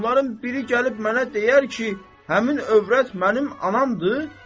Onların biri gəlib mənə deyər ki, həmin övrət mənim anamdır.